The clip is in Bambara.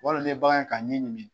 Walima n'i ye bagan ye k'a ɲin ɲimi.